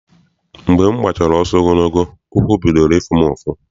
Mgbe m gbachara ọsọ ogologo, ụkwụ bidoro ịfụ m ụfụ.